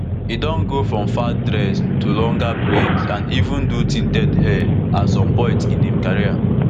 e don go from fat dreads to longer braids and even do tinted hair at some point in im career